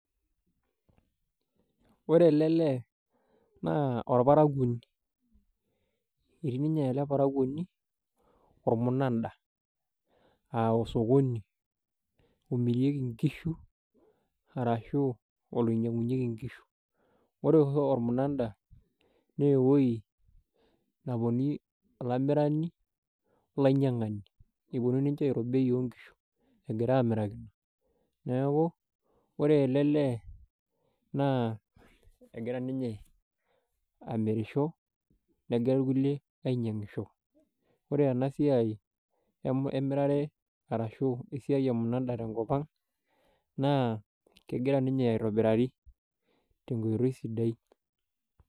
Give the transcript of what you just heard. Ore ele naa orparakuoni. Ore ele parakuoni naa etii ninye ormunan`da aa osokoni omirieki nkishu arashu oinyiangunyieki nkishu. Ore oshi ormuna`da naa ewuiei neponu olamirani olainyiangani eponu ninche airo bei oonkishu , egira amiraki. Niaku ore ele lee naa egira ninye amirisho negira irkulie ainyiangisho. Ore ena siai emirare arashu esiai emuna`da tenkop ang naa kegira ninye aitobirari tenkoitoi sidai.